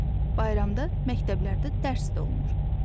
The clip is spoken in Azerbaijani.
Bayramda məktəblərdə dərs də olmur.